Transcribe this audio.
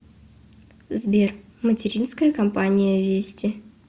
сбер материнская компания вести